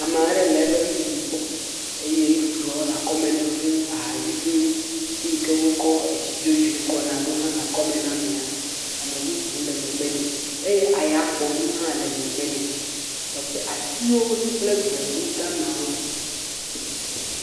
Ame aɖewo le eƒe nuɖuɖu gbɔ eye nuɖuɖuɔ le akɔ nɛ, ahaviviwo, fi yike wokɔ etsi dzodzo kɔna ɖo hã le akɔme na amea, ame bubu le megbe nɛ eye eyagbɔnu hã le megbe nɛ, teƒe, atiwo kple gbemu damawo li.